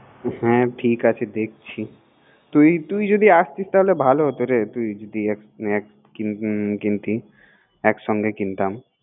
হ্যা ঠিক আছে দেখছি তুই তুই যদি আসতি তাহলে ভালো হতো রে একসাথে কিনতাম